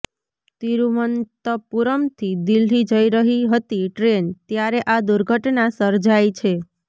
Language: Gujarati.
તિરૂવનંતપુરમથી દિલ્લી જઈ રહી હતી ટ્રેન ત્યારે આ દુર્ઘટના સર્જાઈ છે